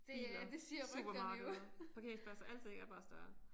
Biler supermarkeder parkeringspladser. Alting er bare større